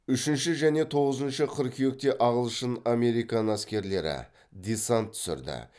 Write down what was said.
үшінші және тоғызыншы қыркүйекте ағылшын американ әскерлері десант түсірді